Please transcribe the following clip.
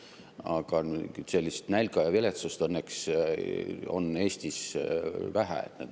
Aga nälga ja viletsust õnneks on Eestis vähe.